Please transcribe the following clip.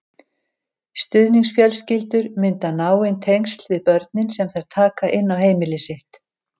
Stuðningsfjölskyldur mynda náin tengsl við börnin sem þær taka inn á heimili sitt.